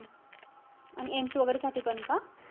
आणि AIMS वगैरे साठी पण का?